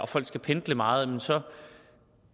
folk skal pendle meget så